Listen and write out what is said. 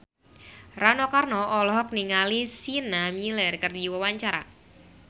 Rano Karno olohok ningali Sienna Miller keur diwawancara